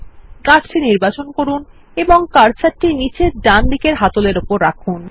গাছটি নির্বাচন করুন এবং কার্সারটি নীচে ডান দিকের হাতলের উপর রাখুন